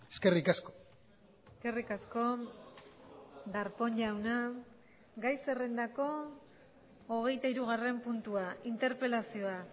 eskerrik asko eskerrik asko darpón jauna gai zerrendako hogeitahirugarren puntua interpelazioa